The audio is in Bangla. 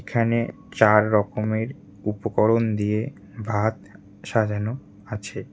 এখানে চার রকমের উপকরণ দিয়ে ভাত সাজানো আছে।